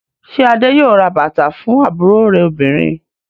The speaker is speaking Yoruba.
Ṣé Adé yóò ra bàtà fún àbúrò rẹ̀ obìnrin?